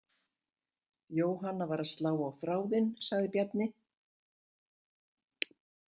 Jóhanna var að slá á þráðinn, sagði Bjarni.